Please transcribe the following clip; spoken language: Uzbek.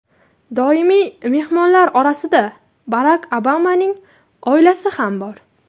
Doimiy mehmonlar orasida Barak Obamaning oilasi ham bor.